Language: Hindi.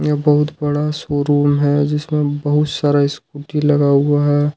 बहुत बड़ा शोरूम है जिसमें बहुत सारा स्कूटी लगा हुआ हैं।